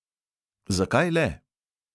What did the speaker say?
Zakaj le?